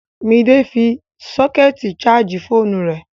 Midé fi sọ́kẹ̀tì ṣààjì fóònù rẹ̀